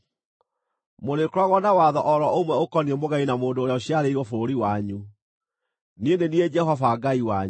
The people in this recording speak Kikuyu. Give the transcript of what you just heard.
Mũrĩkoragwo na watho o ro ũmwe ũkoniĩ mũgeni na mũndũ ũrĩa ũciarĩirwo bũrũri wanyu. Niĩ nĩ niĩ Jehova Ngai wanyu.’ ”